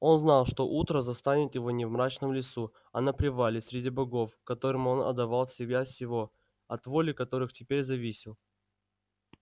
он знал что утро застанет его не в мрачном лесу а на привале среди богов которым он отдавал всего себя и от воли которых теперь зависел